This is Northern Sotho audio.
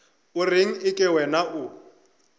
o reng eke wena o